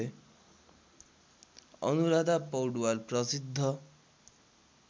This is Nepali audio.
अनुराधा पौडवाल प्रसिद्ध